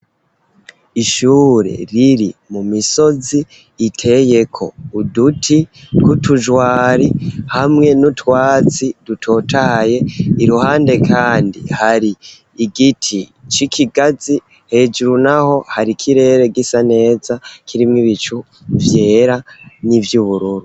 Ishure riri mu misozi iteye ko uduti tw'utujwari hamwe n'utwatsi dutotahaye iruhande kandi hari igiti c'ikigazi hejuru naho hari ikirere gisa neza kirimw'ibicu vyera n'ivy'ubururu.